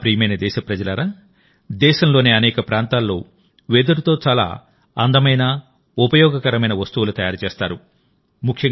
నా ప్రియమైన దేశప్రజలారాదేశంలోని అనేక ప్రాంతాల్లో వెదురుతో చాలా అందమైన ఉపయోగకరమైన వస్తువులు తయారు చేస్తారు